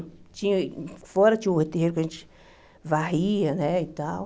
Tinha fora tinha o terreiro que a gente varria né e tal.